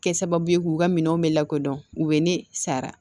Kɛ sababu ye k'u ka minɛnw bɛ lakodɔn u bɛ ne sara